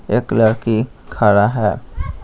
एक लड़की खड़ा है।